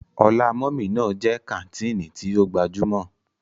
Ọlá mummy ná jẹ́ kàńtìnì tí ó gbajúmọ̀.